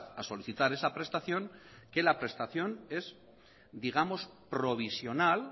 a solicitar esa prestación que la prestación es digamos provisional